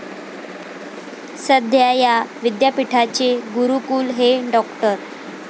सध्या या विद्यापिठाचे कुलगुरु हे डॉ.